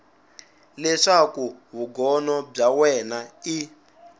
leswaku vugono bya wena i